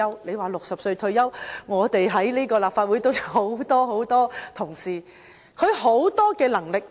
說到60歲退休，我們立法會都有很多同事......